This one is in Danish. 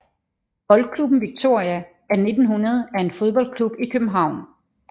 Boldklubben Viktoria af 1900 er en fodboldklub i København